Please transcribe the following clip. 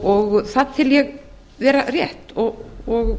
og það tel ég vera rétt og